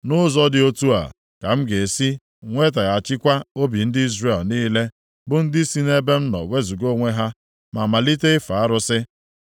Nʼụzọ dị otu a ka m ga-esi nwetaghachikwa obi ndị Izrel niile bụ ndị si nʼebe m nọ wezuga onwe ha, ma malite ife arụsị.’